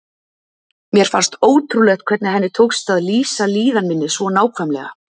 Mér fannst ótrúlegt hvernig henni tókst að lýsa líðan minni svo nákvæmlega.